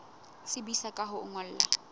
tsebisa ka ho o ngolla